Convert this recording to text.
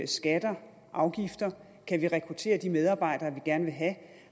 skatter afgifter om kan rekruttere de medarbejdere vi gerne vil have